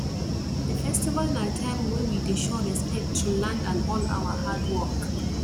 the festival na time wey we dey show respect to land and all our hard work